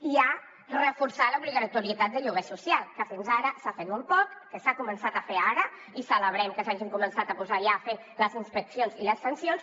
hi ha reforçar l’obligatorietat de lloguer social que fins ara s’ha fet molt poc que s’ha començat a fer ara i celebrem que s’hagin començat a posar ja a fer les inspeccions i les sancions